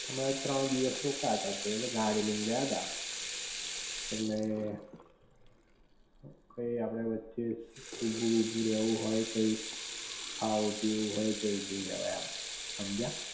અમે તો ત્રણ દિવસ રોકાયા તા તય ઍટલે ગાડી લઈ ને ગયા તા, ઍટલે પઈ આપડે વચે ઊભું બુભુ રેવું હોય કઈક, ખાવું પીવું હોય તો તોય તે રેવે એમ હમજયા?